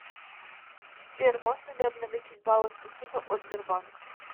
сбер можно ли обналичить баллы спасибо от сбербанк